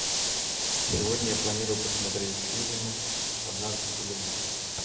сегодня я планирую посмотреть фильм однажды в голливуде